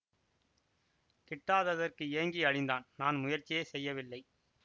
கிட்டாததற்கு ஏங்கி அழிந்தான் நான் முயற்சியே செய்யவில்லை